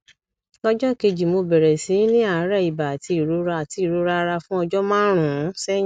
lọjọ kejì mo bẹrẹ sí í ní àárẹ ibà àti ìrora àti ìrora ara fún ọjọ márùnún sẹyìn